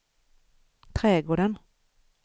trädgården